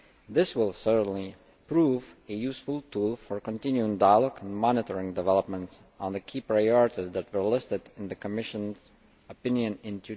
This will certainly prove a useful tool for continuing dialogue and monitoring developments on the key priorities that were listed in the Commission܀s opinion in